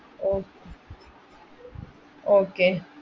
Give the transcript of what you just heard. ഓ okay